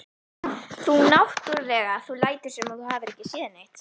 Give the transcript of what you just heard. Þú náttúrlega. þú lætur sem þú hafir ekki séð neitt!